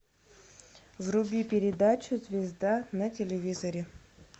вруби передачу звезда на телевизоре